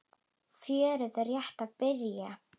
Fjörið er rétt að byrja!